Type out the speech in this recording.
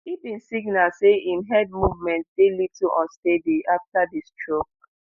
e bin signal say im head movement dey little unsteady afta di stroke